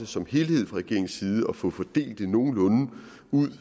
som helhed fra regeringens side at få fordelt det nogenlunde